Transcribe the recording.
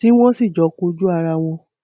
tí wọn sì jọ kojú ara wọn